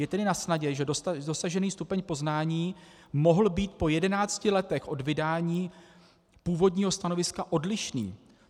Je tedy nasnadě, že dosažený stupeň poznání mohl být po 11 letech od vydání původního stanoviska odlišný.